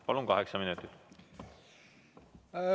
Palun, kaheksa minutit!